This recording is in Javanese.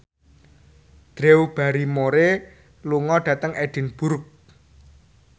Drew Barrymore lunga dhateng Edinburgh